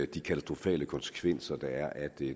de katastrofale konsekvenser der er af det